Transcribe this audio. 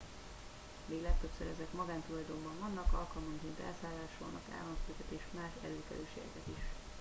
míg legtöbbször ezek magántulajdonban vannak alkalmanként elszállásolnak államfőket és más előkelőségeket is